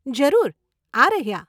જરૂર, આ રહ્યાં.